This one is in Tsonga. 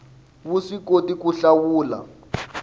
wu swi koti ku hlawula